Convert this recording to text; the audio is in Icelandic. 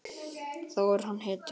Þá er hann hetja.